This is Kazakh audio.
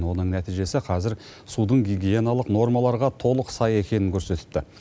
оның нәтижесі қазір судың гигиеналық нормаларға толық сай екенін көрсетіпті